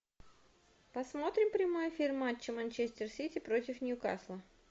посмотрим прямой эфир матча манчестер сити против ньюкасла